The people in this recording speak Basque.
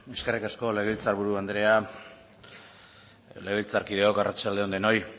eskerrik asko legebiltzar buru andrea legebiltzarkideok arratsalde on denoi